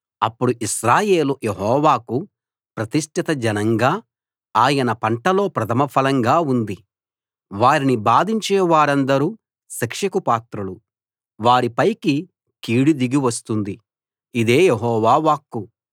అప్పుడు ఇశ్రాయేలు యెహోవాకు ప్రతిష్ఠిత జనంగా ఆయన పంటలో ప్రథమ ఫలంగా ఉంది వారిని బాధించే వారందరూ శిక్షకు పాత్రులు వారిపైకి కీడు దిగి వస్తుంది ఇదే యెహోవా వాక్కు